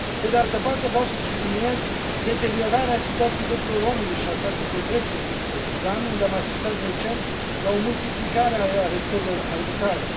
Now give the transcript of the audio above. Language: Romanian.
Pe de altă parte, vreau să subliniez deteriorarea situației drepturilor omului și a statului de drept în Sudan, unde am asistat recent la o multiplicare a arestărilor arbitrare.